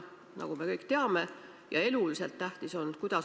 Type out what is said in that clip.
Ikkagi on küsimusi, millest aru ei saada.